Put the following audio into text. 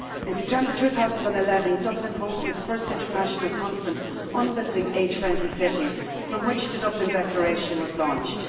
In September 2011, Dublin hosted the first international conference on building age friendly cities, from which the Dublin Declaration was launched.